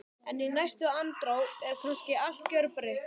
En í næstu andrá er kannski allt gjörbreytt.